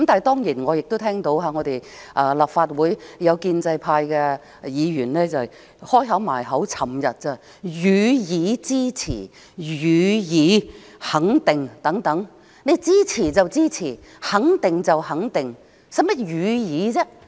當然，我昨天亦聽到立法會建制派議員把"予以支持"、"予以肯定"等掛在口邊，支持便是支持，肯定便是肯定，何須"予以"？